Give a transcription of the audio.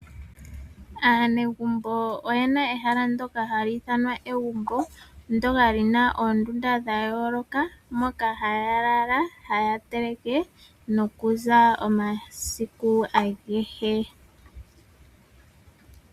Aanegumbo oye na ehala ndoka hali ithanwa egumbo, ndoka li na oondunda dha yooloka, moka haya lala, haya teleke, nokuza omasiku agehe.